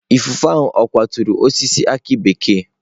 Ifufe ahụ ọ̀ kwaturu osisi aki bekee?